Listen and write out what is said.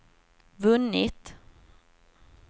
vunnit